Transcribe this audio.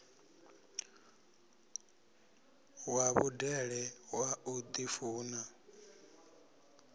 wa vhudele wa u ḓifuna